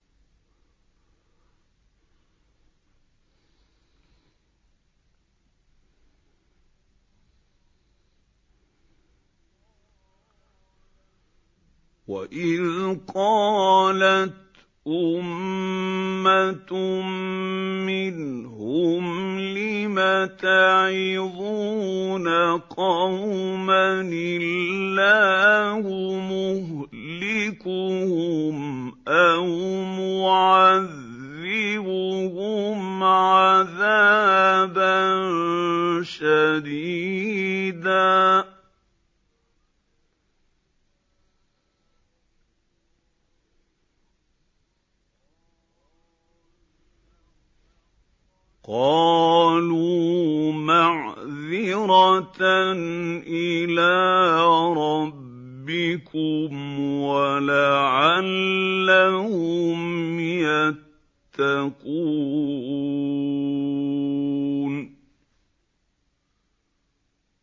وَإِذْ قَالَتْ أُمَّةٌ مِّنْهُمْ لِمَ تَعِظُونَ قَوْمًا ۙ اللَّهُ مُهْلِكُهُمْ أَوْ مُعَذِّبُهُمْ عَذَابًا شَدِيدًا ۖ قَالُوا مَعْذِرَةً إِلَىٰ رَبِّكُمْ وَلَعَلَّهُمْ يَتَّقُونَ